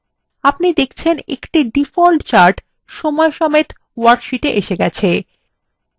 আপনি দেখচেন একটি ডিফল্ট chart সময়সমেত ওয়ার্কশীটে এসে গেছে